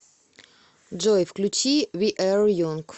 джой включи ви а янг